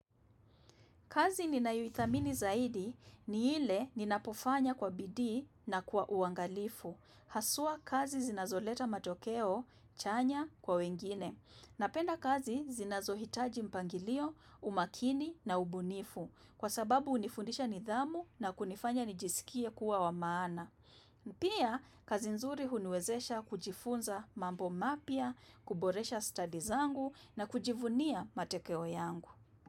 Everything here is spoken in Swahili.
Kazi ninayoithamini zaidi ni ile ninapofanya kwa bidii na kwa uangalifu. Haswa kazi zinazoleta matokeo chanya kwa wengine. Napenda kazi zinazohitaji mpangilio, umakini na ubunifu. Kwa sababu unifundisha nidhamu na kunifanya nijisikie kuwa wa maana. Pia kazi nzuri huniwezesha kujifunza mambo mapya, kuboresha stazi zangu na kujivunia matekeo yangu.